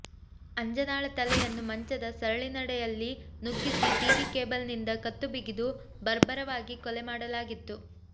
ಅಂಜನಾಳ ತಲೆಯನ್ನು ಮಂಚದ ಸರಳಿನೆಡೆಯಲ್ಲಿ ನುಗ್ಗಿಸಿ ಟಿವಿ ಕೇಬಲ್ ನಿಂದ ಕತ್ತು ಬಿಗಿದು ಬರ್ಬರವಾಗಿ ಕೊಲೆ ಮಾಡಲಾಗಿತ್ತು